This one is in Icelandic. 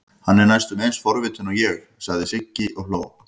Hann er næstum eins forvitinn og ég, sagði Sigga og hló.